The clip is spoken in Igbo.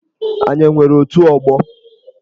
Anyị o nwere otù ọgbọ?